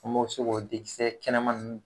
An mo so k'o dekisɛ kɛnɛma nun.